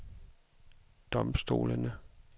domstolene